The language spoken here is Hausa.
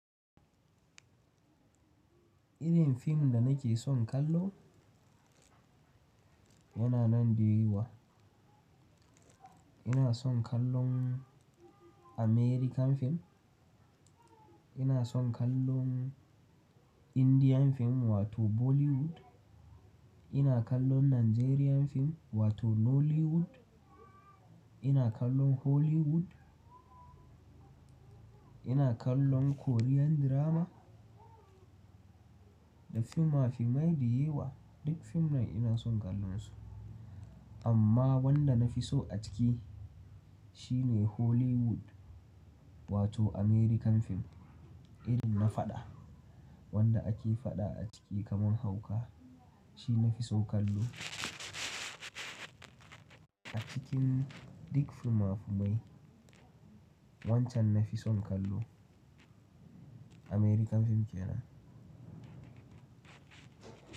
Irin fim da nake son kallo yana nan da yawa. Ina son kallon American fim, ina son kallon Indian fim wato Bollywood, ina kallon Nigerian fim wato Nollywood, ina kallon Hollywood, ina kallon Korean drama. Da fimafimai da yewa duk fim nan ina son kallon su. Amma wanda na fi so a ciki shine Hollywood wato American fim irin na faɗa wanda ake faɗa a ciki kamar hauka shi na fi so kallo. A cikin duk fimafimai wancan na fi son kallo American fim ke nan.